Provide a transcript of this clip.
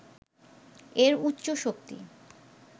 এর উচ্চ শক্তি